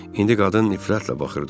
İndi qadın nifrətlə baxırdı ona.